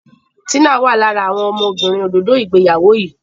Tina wá lára àwọn ọmọbìnrin òdodo ìgbéyàwó yí.